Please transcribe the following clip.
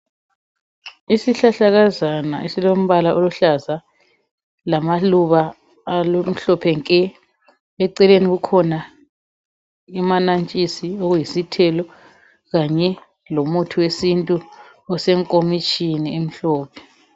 Isihlahlakazana esilombala oluhlaza lamaluba amhlophe nke eceleni kukhona amanantshisi okuyisithelo kanye lomuthi wesintu osenkomitshini emhlophe.